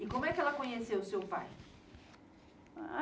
E como é que ela conheceu o seu pai?